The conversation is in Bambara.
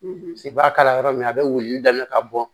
se b'a kalama yɔrɔ min a be wilili daminɛ ka bɔ